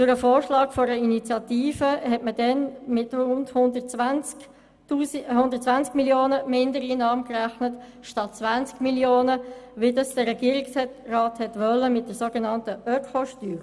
Durch den Vorschlag einer Initiative hat man damals mit 120 Mio. Franken statt 20 Mio. Franken Mindereinnahmen gerechnet, wie das der Regierungsrat mit der sogenannten Ökosteuer wollte.